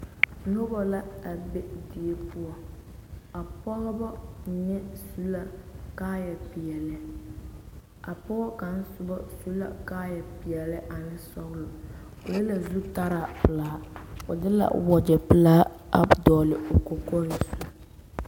Noba la a be die poɔ, a Pɔgebɔ mine su la kaaya peɛle, a pɔge kaŋ aoba su la kaaya peɛle ane sɔgelɔ, o le la zutaraa pelaa, o de la o wagyɛ pelaa a dɔgele o kɔkɔre zu.